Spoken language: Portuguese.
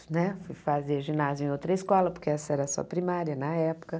Né fui fazer ginásio em outra escola, porque essa era a sua primária na época.